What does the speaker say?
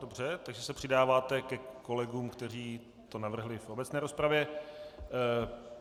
Dobře, takže se přidáváte ke kolegům, kteří to navrhl v obecné rozpravě.